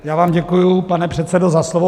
Já vám děkuji, pane předsedo, za slovo.